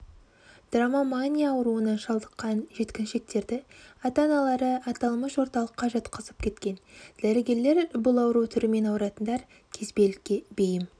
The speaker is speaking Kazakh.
дромомания ауруына шалдыққан жеткіншектерді ата-аналары аталмыш орталыққа жатқызып кеткен дәрігерлер бұл ауру түрімен ауыратындар кезбелікке бейім